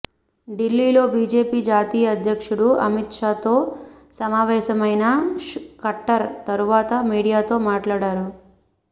ఢిల్లీలో బిజెపి జాతీయ అధ్యక్షుడు అమిత్షాతో సమావేశమైన ఖట్టర్ తరువాత మీడియాతో మాట్లాడారు